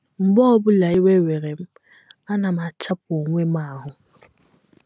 “ Mgbe ọ bụla iwe were m, ana m achapu onwe m ahụ́.